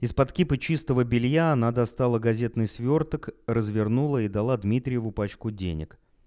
из-под кипы чистого белья она достала газетный свёрток развернула и дала дмитриеву пачку денег